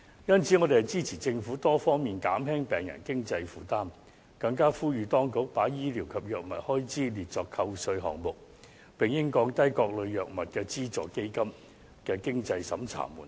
因此，我們支持政府多方面減輕病人的經濟負擔，更呼籲當局把醫療及藥物開支列作扣稅項目，並應降低各類藥物的資助基金的經濟審查門檻。